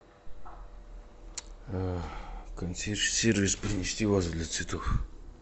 консьерж сервис принести вазу для цветов